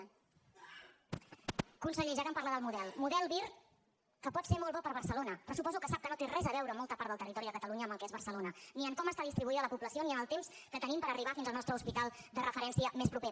conseller ja que em parla del model model vir que pot ser molt bo per a barcelona però suposo que sap que no té res a veure molta part del territori de catalunya amb el que és barcelona ni amb com està distribuïda la població ni amb el temps que tenim per arribar fins al nostre hospital de referència més proper